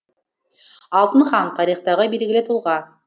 алтын хан тарихтағы белгілі тұлға